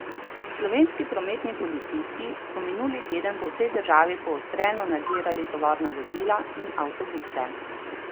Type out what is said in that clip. Slovenski prometni policisti so minuli teden po vsej državi poostreno nadzirali tovorna vozila in avtobuse.